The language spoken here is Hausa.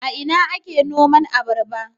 A ina ake noman abarba?